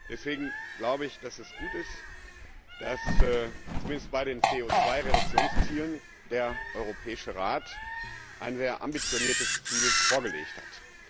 Deswegen glaube ich, dass es gut ist, dass zumindest bei den CO Reduktionszielen der Europäische Rat ein sehr ambitioniertes Ziel vorgelegt hat.